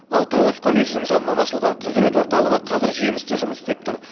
ал тоғыз колледждің жанынан ашылған құзірет орталығы қазір жемісті жұмыс істеп тұр